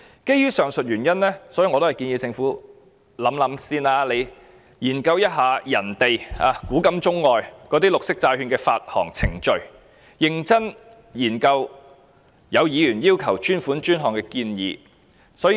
基於上述原因，我建議政府先研究其他地方的綠色債券發行程序，認真審視議員要求專款專項的建議。